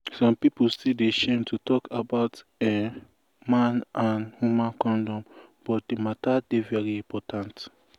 some pipu still dey shame to talk about[um]man and woman condom but di matter dey very important